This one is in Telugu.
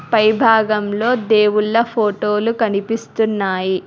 పై భాగంలో దేవుళ్ళ ఫోటోలు కనిపిస్తున్నాయి.